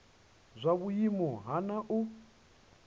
zwa vhuimo ha nha hu